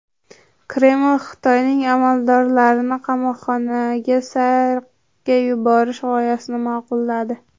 Kreml Xitoyning amaldorlarni qamoqxonaga sayrga yuborish g‘oyasini ma’qulladi.